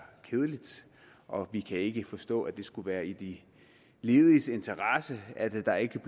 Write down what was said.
kedeligt og vi kan ikke forstå at det skulle være i de lediges interesse at der ikke